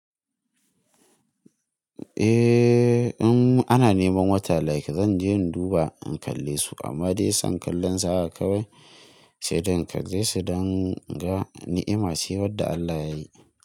Eh, in ana neman wata like zan je in duba in kalle su amma dai son kallon su haka kawai sai dai in kalle su don in ga ni'ima ce wadda Allah yayi.